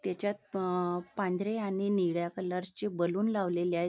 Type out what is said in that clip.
त्याच्यात अ पांढरे आणि निळ्या कलरचे बलून लावलेले आहेत.